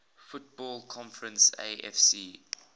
football conference afc